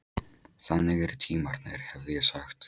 Þannig eru tímarnir, hefði ég sagt.